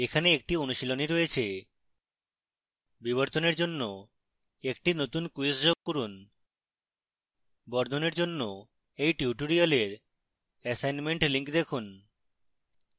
এখানে একটি অনুশীলনী রয়েছে